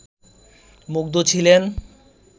মুগ্ধ ছিলেন